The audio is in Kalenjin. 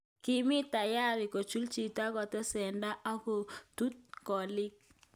"Kimii tayari kechul chito aketesetai aklt kitutuu koliik".